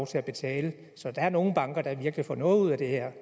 til at betale så der er nogle banker der virkelig får noget ud af det her